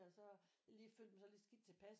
og så lige følt mig sådan lidt skidt tilpas